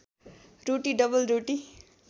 रोटी double रोटी